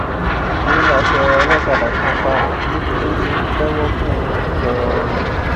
tìrẹlà tẹ olókàdá kan pa níbi tó ti ń pẹwọ fún un ńlọrọrìn